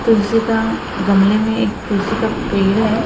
तुलसी का गमले में एक तुलसी का पेड़ हैं।